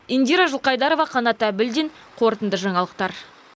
индира жылқайдарова қанат әбілдин қорытынды жаңалықтар